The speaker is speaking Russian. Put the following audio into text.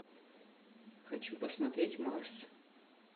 хочу посмотреть марс